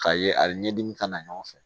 K'a ye a bɛ ɲɛdimi kana ɲɔgɔn fɛ